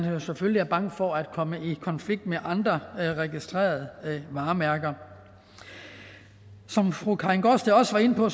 selvfølgelig er bange for at komme i konflikt med andre registrerede varemærker som fru karin gaardsted også var inde på